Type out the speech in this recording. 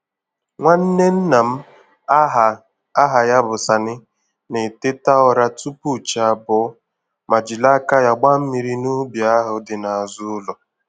Nwanne nna m aha aha ya bụ Sani na-eteta ụra tupu chi abọọ, ma jiri aka ya gbaa mmiri n'ubi ahụ dị n'azụ ụlọ.